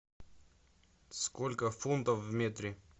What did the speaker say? сколько футов в метре